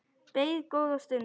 Beið góða stund.